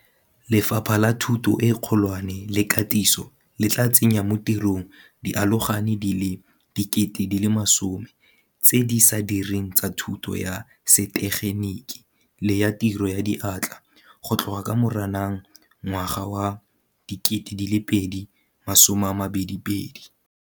Lefapha la Thuto e Kgolwane le Katiso le tla tsenya mo tirong dialogane di le 10 000 tse di sa direng tsa thuto ya setegeniki le ya tiro ya diatla go tloga ka Moranang 2022.